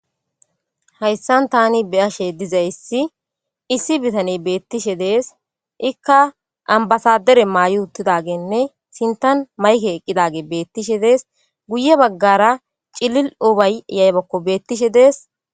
hayssan tani beyashe dizayssi issi bitane beettishe dees ikka ambasadere maay7i uttidagenne sintan mayke eqqidage beettishe dees guye baggara cilil ubay yaybakko beettishe dees